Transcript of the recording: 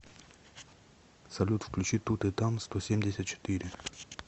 салют включи тут и там сто семьдесят четыре